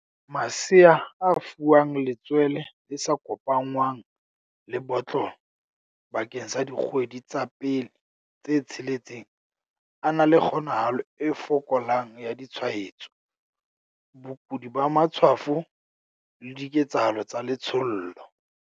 Masea a fuwang letswele le sa kopanngwang le botlolo bakeng sa dikgwedi tsa pele tse tsheletseng a na le kgonahalo e fokolang ya ditshwaetso, bokudi ba matshwafo, le diketshalo tsa letshollo.